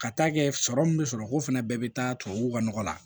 Ka taa kɛ sɔrɔ min bɛ sɔrɔ ko fɛnɛ bɛɛ bɛ taa tubabuw ka nɔgɔ la